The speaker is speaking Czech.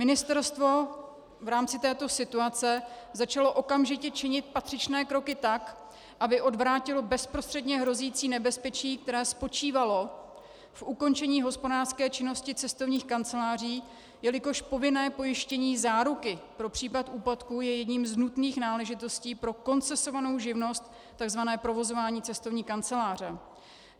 Ministerstvo v rámci této situace začalo okamžitě činit patřičné kroky tak, aby odvrátilo bezprostředně hrozící nebezpečí, které spočívalo v ukončení hospodářské činnosti cestovních kanceláří, jelikož povinné pojištění záruky pro případ úpadku je jednou z nutných náležitostí pro koncesovanou živnost, tzv. provozování cestovní kanceláře.